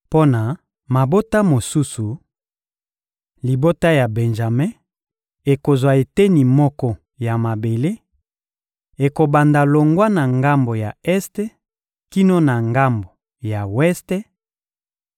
Mpo na mabota mosusu: Libota ya Benjame ekozwa eteni moko ya mabele: ekobanda longwa na ngambo ya este kino na ngambo ya weste;